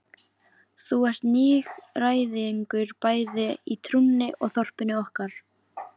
Þú ert nýgræðingur bæði í trúnni og þorpinu okkar.